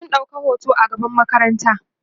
sun ɗauka hoto a gaban makaranta